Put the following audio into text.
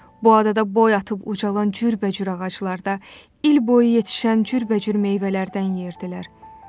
Bu adada boy atıb ucalan cürbəcür ağaclarda il boyu yetişən cürbəcür meyvələrdən yerdilər.